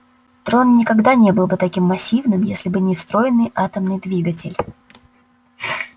трон никогда не был бы таким массивным если бы не встроенный атомный двигатель